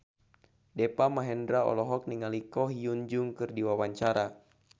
Deva Mahendra olohok ningali Ko Hyun Jung keur diwawancara